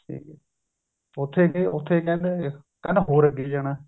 ਉਥੇ ਗਏ ਉਥੇ ਕਹਿੰਦੇ ਹੋਰ ਅੱਗੇ ਜਾਣਾ